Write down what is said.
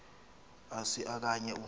asi okanye u